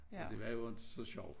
Og det var jo ikke så sjovt